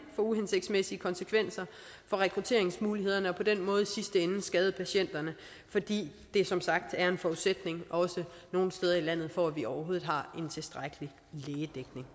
få uhensigtsmæssige konsekvenser for rekrutteringsmulighederne og på den måde i sidste ende skade patienterne fordi det som sagt er en forudsætning også nogle steder i landet for at vi overhovedet har en tilstrækkelig lægedækning